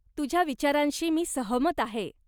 तुझ्या विचारांशी मी सहमत आहे.